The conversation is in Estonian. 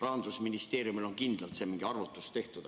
Rahandusministeeriumil on kindlalt see arvutus tehtud.